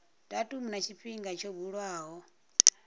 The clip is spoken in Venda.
datumu na tshifhinga tsho buliwaho